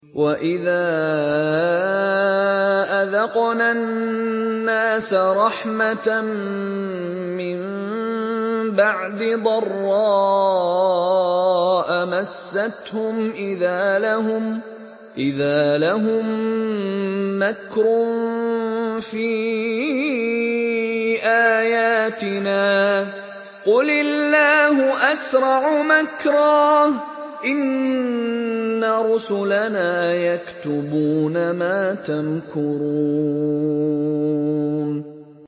وَإِذَا أَذَقْنَا النَّاسَ رَحْمَةً مِّن بَعْدِ ضَرَّاءَ مَسَّتْهُمْ إِذَا لَهُم مَّكْرٌ فِي آيَاتِنَا ۚ قُلِ اللَّهُ أَسْرَعُ مَكْرًا ۚ إِنَّ رُسُلَنَا يَكْتُبُونَ مَا تَمْكُرُونَ